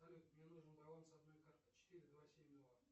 салют мне нужен баланс одной карты четыре два семь два